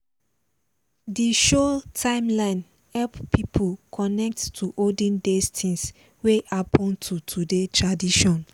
di show timeline help people connect to olden days things we happen to today tradition.